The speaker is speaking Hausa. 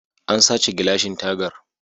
An sace gilashin tagar